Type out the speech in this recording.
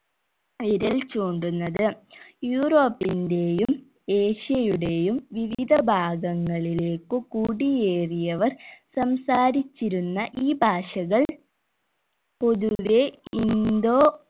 വിരൽ ചൂണ്ടുന്നത് യൂറോപ്പിന്റെയും ഏഷ്യയുടെയും വിവിധ ഭാഗങ്ങളിലേക്കു കുടിയേറിയവർ സംസാരിച്ചിരുന്ന ഈ ഭാഷകൾ പൊതുവെ ഇൻഡോ